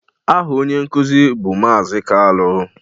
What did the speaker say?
Aha onye nkuzi bụ Maazị Kalu